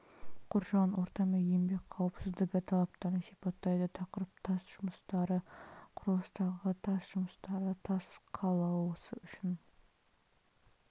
қоршаған орта мен еңбек қауіпсіздігі талаптарын сипаттайды тақырып тас жұмыстары құрылыстағы тас жұмыстары тас қалауысы үшін